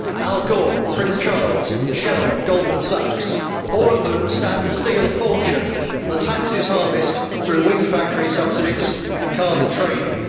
Al Gore, Prince Charles, Shell and Goldman Sachs all of whom stand to steal a fortune from the taxes harvested through wind factory subsidies and carbon trading.